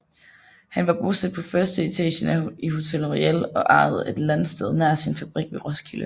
Han var bosat på førsteetagen i Hotel Royal og ejede et landsted nær sin fabrik ved Roskilde